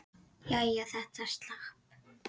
Jæja, þetta slapp.